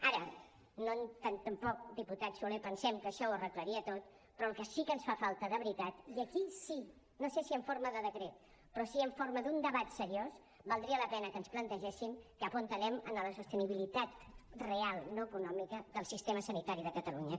ara tampoc diputat soler pensem que això ho arreglaria tot però el que sí ens fa falta de veritat i aquí sí no sé si en forma de decret però sí en forma d’un debat seriós que valdria la pena que ens plantegéssim cap on anem en la sostenibilitat real no econòmica del sistema sanitari de catalunya